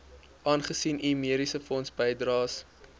aangesien u mediesefondsbydraes